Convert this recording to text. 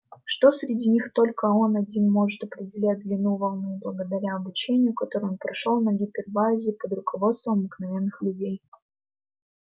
что среди них только он один может определять длину волны благодаря обучению которое он прошёл на гипербаэе под руководством обыкновенных людей